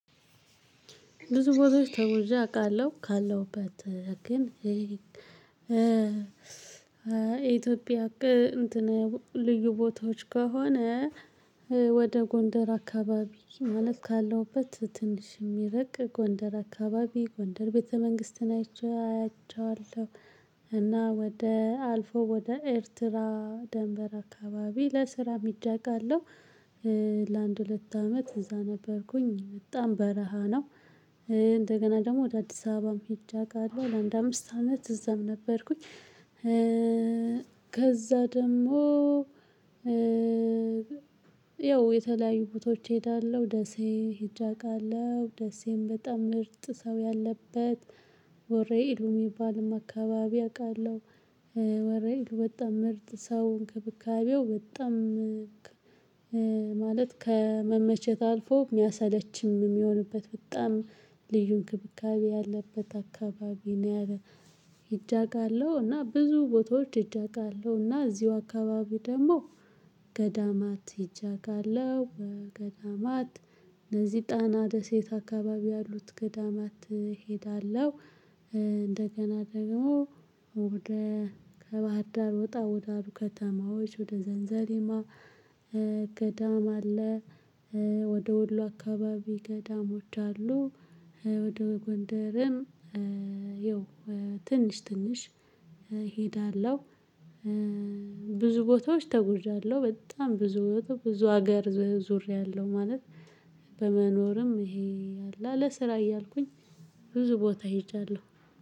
ብዙ ቦታዎች ተጉዣ አውቃለሁ ካለውበት ግን ይሄ የኢትዮጵያ እቅድ ልዩ ቦታዎች ከሆነ ወደ ጎንደር አካባቢ መለት ካለውበት ትንሽ የሚረቅ ጎንደር አካባቢ ጎንደር ቤተ መንግስትን አያቸዋለሁ እና ወደ አልፎ ወደ ኤርትራ ደንበር አካባቢ ለስራም ሄጄ ለአንድ ሁለት አመት እዛ ነበርኩኝ በጣም በረሃ ነው። እንደገና ደግሞ ወደ አዲስ አበባም ሄጀ አወቃለው ለአንድ አምስት አመት እዛም ነበርኩኝ። ከዛ ደግሞ ያው የተለያዩ ቦታዎች እሄዳለሁ ደሴ ሄጄ አውቃለሁ ደሴም በጣም ምርጥ ሰው ያለበት ወሬ እይሉ ሚባል አካባቢ አውቃለሁ። ወሬ ይሉ በጣም ምርጥ ሰው እንክብካቤው በጣም ማለት ከመመቸት አልፎ ሚያሰለችም የሚሆንበት በጣም ልዩ እንክብካቤ ያለበት አካባቢ ነው። ያለ ሄጀ አውቃለሁ እና ብዙ ቦታዎች ሄጄ አውቃለሁ። እና እዚሁ አካባቢ ደግሞ ገዳማት ይጃጋለሁ ገዳማት እነዚህ ጣና ደሴት አካባቢ ያሉት ገዳማት እሄዳለሁ። እንደገና ደግሞ ወደ ከባህር ዳር ወጣ ወደ አሉ ከተማዎች ወደ ዘንዘለማ ገዳም አለ። ወደ ወሎ አካባቢ ገዳም ወዳለሉ ወደ ጎንደርም ይኸው ትንሽ ትንሽ እሄዳለሁ። ብዙ ቦታዎች ተጉዣለሁ በጣም ብዙ ቦታ ብዙ ሀገር ዞሬያለሁ። ማለት በመኖርም ይሄ አለ ለስራ እያልኩኝ ብዙ ቦታ ሄጃለሁ